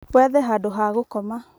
wethe handũ ha gũkoma